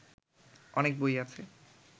অনেক বই আছে